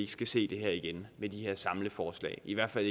skal se det her igen med de her samleforslag i hvert fald